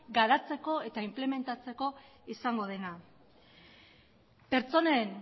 garatzeko eta inplementatzeko izango dena pertsonen